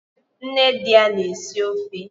Nne di ya na-esi ofe